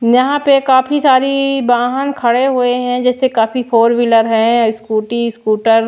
यहां पे काफी सारी वाहन खड़े हुए हैं जैसे काफी फोर व्हीलर है स्कूटी स्कूटर --